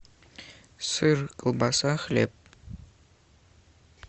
сыр колбаса хлеб